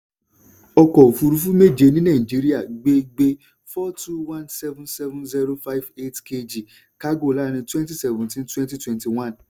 ọkọ̀ òfúrufú méje ní nàìjíríà gbé gbé four two one seven seven zero five eight kg kágò láàrín twenty seventeen-twenty twenty one.